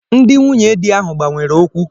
Ndị nwunye di ahụ gbanwere okwu.